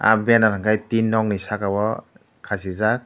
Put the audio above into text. ah banner hingke tin nog ni saka o kasijak.